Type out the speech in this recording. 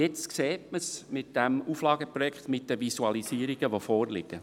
Jetzt sieht man es anhand des Auflageprojekts und der vorliegenden Visualisierungen.